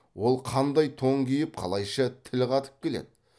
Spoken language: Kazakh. ол қандай тон киіп қалайша тіл қатып келеді